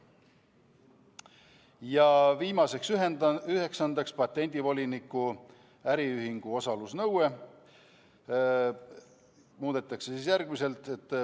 Ja viimaseks, üheksandaks, patendivoliniku äriühingu osalusnõuet muudetakse.